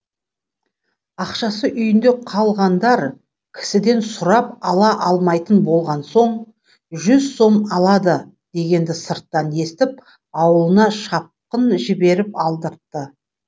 ақшасы үйінде қалғандар кісіден сұрап ала алмайтын болған соң жүз сом алады дегенді сырттан естіп аулына шапқын жіберіп алдыртты